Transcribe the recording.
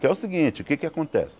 Que é o seguinte, o que é que acontece?